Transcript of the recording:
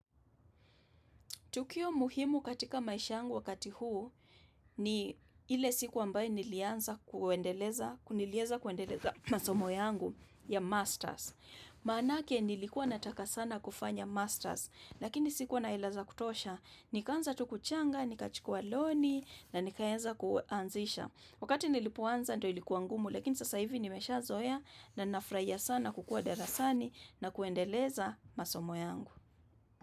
Tukio muhimu katika maisha yangu wakati huu ni ile siku ambaye nilianza kuendeleza masomo yangu ya masters. Maanake nilikuwa nataka sana kufanya masters, lakini sikuwa na hela za kutosha. Nikaanza tu kuchanga, nikachukuwa loni na nikaeza kuanzisha. Wakati nilipoanza ndo ilikuwa ngumu, lakini sasa hivi nimeshazoea na nafraia sana kukua darasani na kuendeleza masomo yangu.